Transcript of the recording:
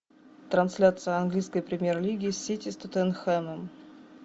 трансляция английской премьер лиги сити с тоттенхэмом